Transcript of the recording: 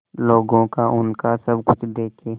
लोगों को उनका सब कुछ देके